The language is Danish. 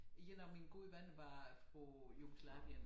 Én af mine gode venner var fra Jugoslavien